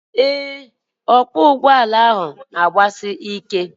Ee, ọkwọụgbọala ahụ na-agbasi ike